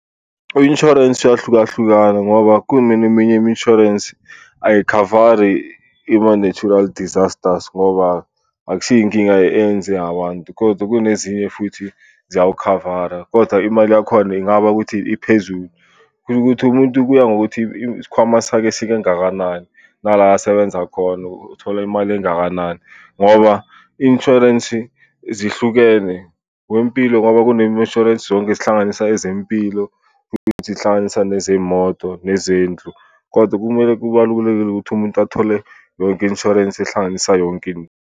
U-insurance uyahlukahlukana ngoba kuneminye imishwarensi ayikhavari ima-natural disasters ngoba akusiyo inkinga eyenze abantu kodwa kunezinye futhi ziyawukhavara, kodwa imali yakhona ingaba ukuthi iphezulu. Kusho ukuthi umuntu kuya ngokuthi isikhwama sakhe singakanani, nala asebenza khona uthola imali engakanani. Ngoba insurance zihlukene, wempilo ngoba kunemi-insurance yonke ezihlanganisa ezempilo, zihlanganisa nezey'moto nezindlu kodwa kumele kubalulekile ukuthi umuntu athole yonke i-insurance ehlanganisa yonke into.